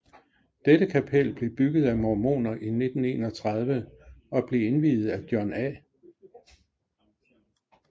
Dette kapel blev bygget af mormoner i 1931 og blev indviet af John A